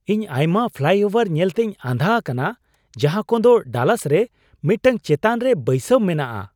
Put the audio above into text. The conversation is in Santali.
ᱤᱧ ᱟᱭᱢᱟ ᱯᱷᱞᱟᱭᱼᱳᱵᱷᱟᱨ ᱧᱮᱞᱛᱮᱧ ᱟᱸᱫᱷᱟ ᱟᱠᱟᱱᱟ ᱡᱟᱦᱟᱸ ᱠᱚᱫᱚ ᱰᱟᱞᱟᱥ ᱨᱮ ᱢᱤᱫᱴᱟᱝ ᱪᱮᱛᱟᱱ ᱨᱮ ᱵᱟᱹᱭᱥᱟᱹᱣ ᱢᱮᱱᱟᱜᱼᱟ ᱾